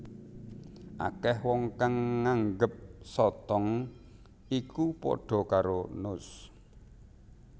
Akeh wong kang nganggep sotong iku padha karo nus